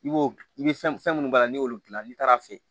I b'o i bɛ fɛn minnu b'a la ni y'olu dilan n'i taara fe ye